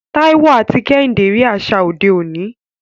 Taiwo àti Kehinde rí àṣà òde òní.